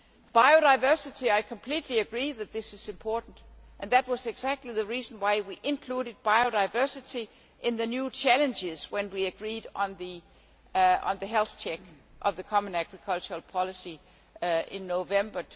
Biodiversity I completely agree that this is important, and that was exactly the reason why we included biodiversity in the new challenges when we agreed on the health check of the common agricultural policy in November